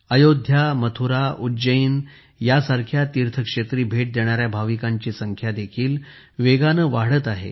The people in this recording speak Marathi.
अयोध्या मथुरा उज्जैन यांसारख्या तीर्थक्षेत्री भेट देणाऱ्या भाविकांची संख्या देखील वेगाने वाढत आहे